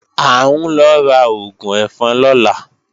À ń lọ ra oògùn ẹ̀fọn lọ́la